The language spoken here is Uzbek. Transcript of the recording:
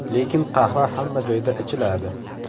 Lekin qahva hamma joyda ichiladi.